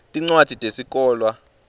tincwadzi tesikolwa